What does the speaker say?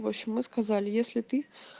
вообщем мы сказали если ты